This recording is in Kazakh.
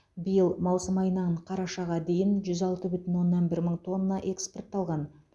биыл маусым айынан қарашаға дейін жүз алты бүтін оннан бір мың тонна экспортталған